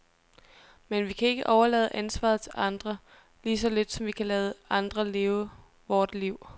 Men vi kan ikke overlade ansvaret til andre, lige så lidt som vi kan lade andre leve vort liv.